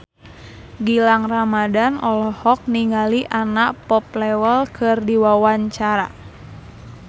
Gilang Ramadan olohok ningali Anna Popplewell keur diwawancara